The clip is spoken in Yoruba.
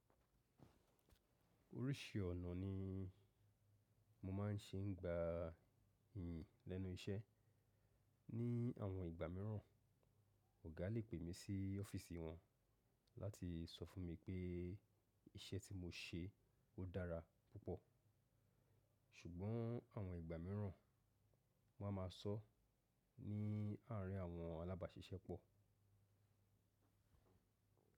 Oríṣi ọ̀nà ni mo máa ń ṣe ń gba iyì lẹ́nu iṣẹ́. Ní àwọn ìgbà míràn, ọ̀gá lè pè mí sí ọ́fíìsì wọn láti sọ fún mi pé iṣẹ́ tí mo ṣe ó dára púpọ̀. Ṣùgbọ́n àwọn ìgbà míràn, wọ́n á máa sọ ní àárín àwọn alábàáṣiṣẹ́pọ̀.